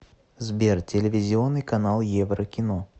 сбер телевизионный канал еврокино